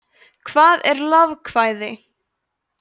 hvað er lovekvæði